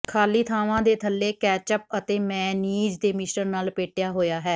ਖਾਲੀ ਥਾਵਾਂ ਦੇ ਥੱਲੇ ਕੈਚੱਪ ਅਤੇ ਮੇਅਨੀਜ਼ ਦੇ ਮਿਸ਼ਰਣ ਨਾਲ ਲਪੇਟਿਆ ਹੋਇਆ ਹੈ